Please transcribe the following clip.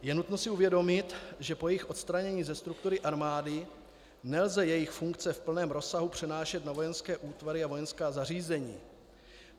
Je nutno si uvědomit, že po jejich odstranění ze struktury armády nelze jejich funkce v plném rozsahu přenášet na vojenské útvary a vojenská zařízení.